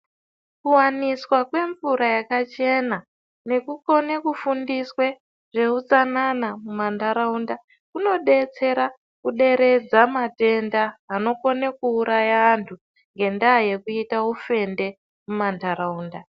Kuwaniswa kwemvura yakachena nekukone kufundiswa zveutsanana mumantaraunda kunodetsera kuderedza matenda anokone kuuraya antu ngendaa yekuti ufende mumantaraunda.